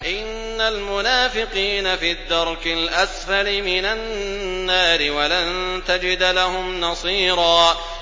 إِنَّ الْمُنَافِقِينَ فِي الدَّرْكِ الْأَسْفَلِ مِنَ النَّارِ وَلَن تَجِدَ لَهُمْ نَصِيرًا